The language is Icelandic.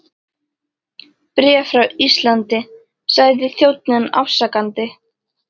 Bréf frá Íslandi, sagði þjónninn afsakandi.